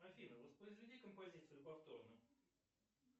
афина воспроизведи композицию повторно